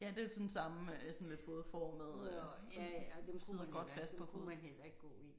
Ja det er sådan samme sådan lidt fodformede sidder godt fast på foden